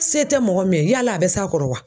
Se tɛ mɔgɔ min ye yala a bɛ s'a kɔrɔ wa?